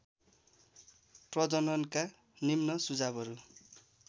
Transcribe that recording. प्रजननका निम्न सुझावहरू